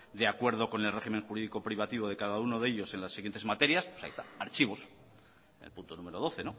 de acuerdo con el régimen jurídico privativo de cada uno de ellos en las siguientes materias pues ahí está archivos el punto número doce